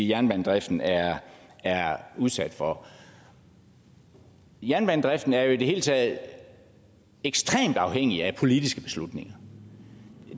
jernbanedriften er er udsat for jernbanedriften er i det hele taget ekstremt afhængig af politiske beslutninger